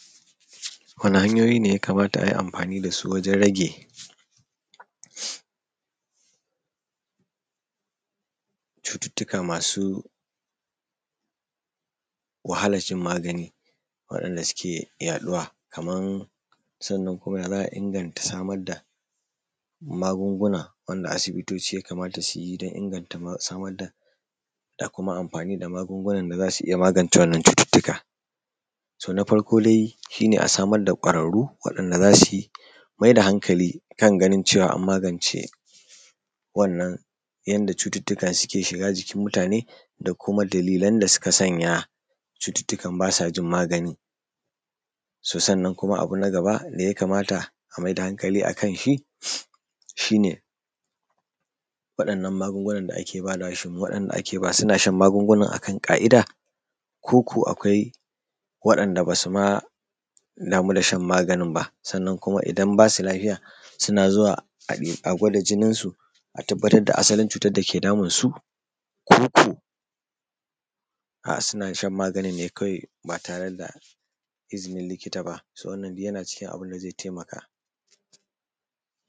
Waɗanne hanyoyi ne ya kamata a yi amfani da su wajen rage wahalar shan magani waɗanda suke yaɗuwa kamar sannan ya za a inganta samar da magungunan a wanda asibitoci ya kamata su yi don inganta samar da kuma amfani da magungunan da za su iya magance wannan cututtukan. To, na farko dai shi ne a samar da kwararru waɗanda za su iya maida hankali kan ganin an magance wannan yadda cututtukan suke shiga jikin mutane da kuma dalilan da suke sanya cututtukan ba sa jin magani. To Sannan kuma abu na gaba da ya kamata a maida hankali a kan shi, shi ne waɗannan magungunan da ake bayarwa shin waɗanda ake ba suna shan magungunan a kan ƙa'ida ko kuwa akwai waɗanda ba su ma damu da shan maganin ba. Sannan kuma idan ba su lafiya suna zuwa a gwada jininsu a tabbatar da asalin cutar dake damunsu ko ko suna shan maganin ba tare da izinin likita ba yana cikin abun da zai taimaka.